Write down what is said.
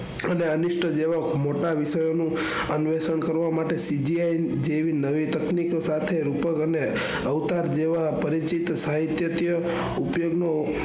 અને અનિષ્ટ જેવા મોટા વિષયો નું કરવાં માટે CGI જેવી નવી તકનીકો સાથે રૂપક અને Avatar જેવા પરિચિત સાહિત્યત્ય ઉપયોગ નો